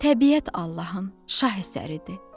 Təbiət Allahın şah əsəridir.